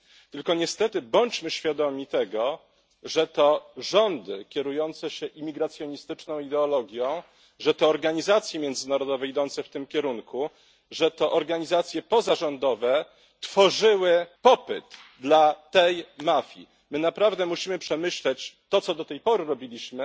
Tylko niestety bądźmy świadomi tego, że to rządy kierujące się imigracjonistyczną ideologią, że to organizacje międzynarodowe idące w tym kierunku, że to organizacje pozarządowe tworzyły popyt dla tej mafii. My naprawdę musimy przemyśleć to, co do tej pory robiliśmy.